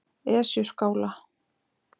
Esjuskála